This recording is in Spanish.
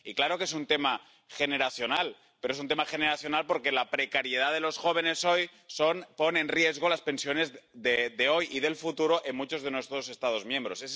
Y claro que es un tema generacional, pero es un tema generacional porque la precariedad de los jóvenes hoy pone en riesgo las pensiones de hoy y del futuro en muchos de nuestros Estados miembros.